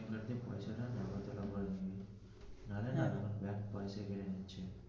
নাহলে না ব্যাঙ্ক পয়সা কেটে নিছে.